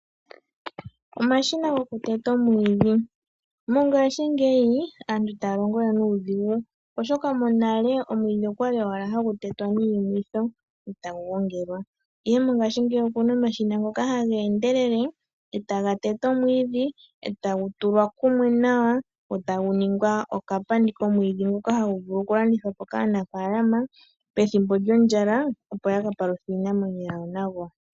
Omashina goku teta omwiidhi. Mongashingeya aantu ita ya longo we nudhigu oshoka monale omwiidhi okwali owala ha gu tetwa niimwitho e ta gu gongelwa, ashike mongaashingeyi oku na omashina ngoka ha ga endelele e ta ga tete omwiidhi e tagu tulwa kumwe nawa eta guningwa okapandi komwiidhi nguka ha gu vulu okulandithwapo kaanafaalama pethimbo lyondjala opo ya ka paluthe iinamwenyo yawo nago.